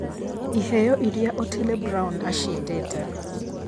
ĩheo ĩrĩa otile brown acĩndĩte